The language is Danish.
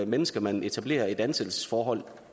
mennesker man etablerer et ansættelsesforhold